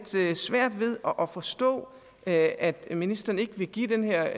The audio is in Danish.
svært ved at forstå at at ministeren ikke vil give den her